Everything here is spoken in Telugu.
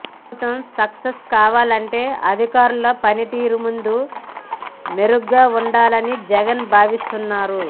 ప్రభుత్వం సక్సెస్ కావాలంటే అధికారుల పనితీరు ముందు మెరుగ్గా వుండాలని జగన్ భావిస్తున్నారు